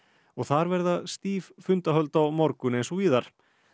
og þar verða stíf fundahöld á morgun eins og víðar